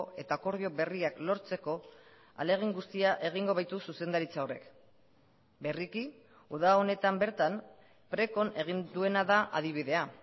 eta akordio berriak lortzeko ahalegin guztia egingo baitu zuzendaritza horrek berriki uda honetan bertan precon egin duena da adibidea